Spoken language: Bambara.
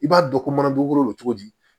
I b'a dɔn ko mana dugukolo cogo di